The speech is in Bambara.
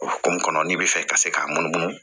O hokumu kɔnɔ n'i bɛ fɛ ka se k'a munumunu